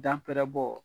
Dan pɛrɛ bɔ